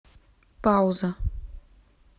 пауза